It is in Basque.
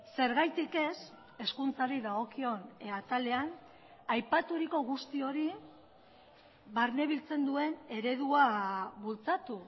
zergatik ez hezkuntzari dagokion atalean aipaturiko guzti hori barnebiltzen duen eredua bultzatu